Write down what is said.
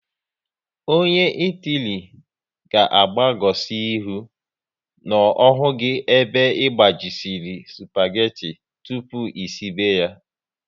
Ọnye Itali ga agbagosi ihu n'ohu gị ebe gbajiri supageti tụpụ esibe ya